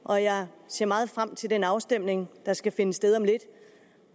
og jeg ser meget frem til den afstemning der skal finde sted om lidt